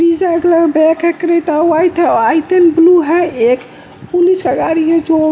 का colour back है क्रेता वाइट है व्हाइट एंड ब्लू है एक पुलिस का गाड़ी है जो--